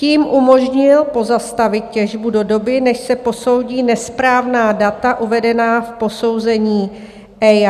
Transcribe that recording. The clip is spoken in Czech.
Tím umožnil pozastavit těžbu do doby, než se posoudí nesprávná data uvedená v posouzení EIA.